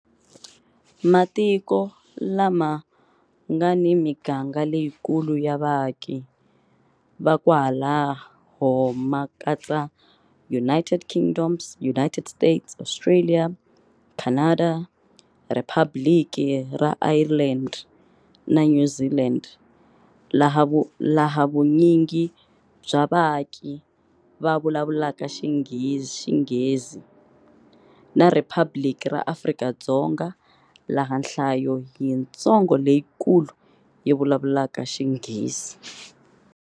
Matiko lama nga ni miganga leyikulu ya vaaki va kwalaho ma katsa United Kingdom, United States, Australia, Canada, Riphabliki ra Ireland, na New Zealand, laha vunyingi bya vaaki va vulavulaka Xinghezi, na Riphabliki ra Afrika-Dzonga, laha nhlayo yitsongo leyikulu yi vulavulaka Xinghezi.